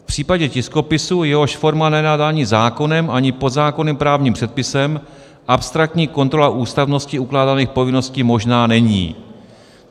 V případě tiskopisu, jehož forma není dána zákonem ani podzákonným právním předpisem, abstraktní kontrola ústavnosti ukládaných povinností možná není."